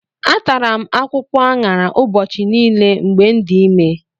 Atara m akwụkwọ aṅara ụbọchị niile mgbe m dị ime.